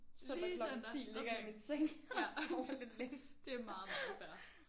Lige søndag okay ja det er meget meget fair